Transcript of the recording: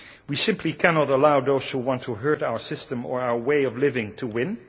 We simply cannot allow those who want to hurt our system or our way of living to win.